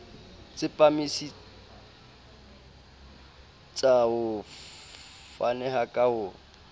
tsepamisetsa ho faneng ka ho